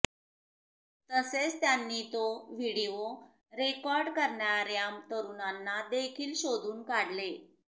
तसेच त्यांनी तो व्हिडीओ रेकॉर्ड करणाऱ्या तरुणांना देखील शोधून काढले